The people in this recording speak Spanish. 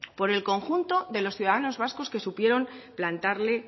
por el conjunto de los ciudadanos vascos que supieron plantarle